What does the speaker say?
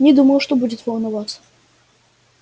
не думал что будет волноваться